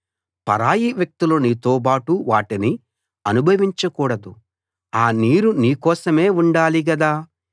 పరాయి వ్యక్తులు నీతోబాటు వాటిని అనుభవించకూడదు ఆ నీరు నీ కోసమే ఉండాలి గదా